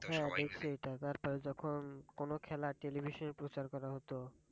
তারপরে যখন কোনো খেলা television প্রচার করা হত,